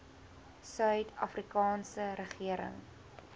suid afrikaanse regering